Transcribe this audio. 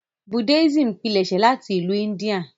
Buddhism pilẹṣẹ láti ìlu India.